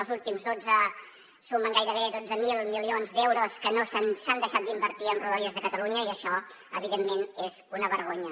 els últims dotze sumen gairebé dotze mil milions d’euros que s’han deixat d’invertir en rodalies de catalunya i això evidentment és una vergonya